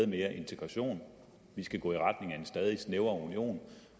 mere integration vi skal gå i retning af en stadig snævrere union